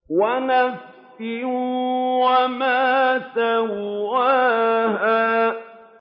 وَنَفْسٍ وَمَا سَوَّاهَا